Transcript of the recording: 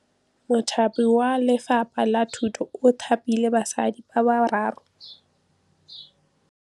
Mothapi wa Lefapha la Thutô o thapile basadi ba ba raro.